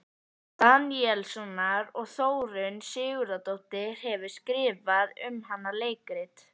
Daníelssonar, og Þórunn Sigurðardóttir hefur skrifað um hana leikrit.